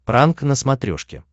пранк на смотрешке